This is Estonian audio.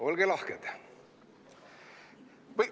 Olge lahked!